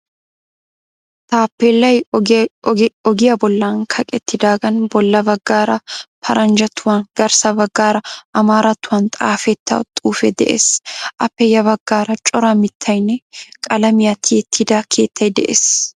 Taappeellay ogiya bollan kaqettidaagan bolla baggaara paranjjattuwan garssa baggaara amaarattuwan xaafetta xuufee de'ees. Appe ya baggaara cora mittaynne qalamiya tiyettida keettay de'ees.